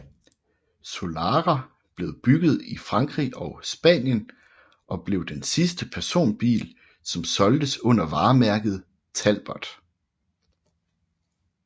Solara blev bygget i Frankrig og Spanien og blev den sidste personbil som solgtes under varemærket Talbot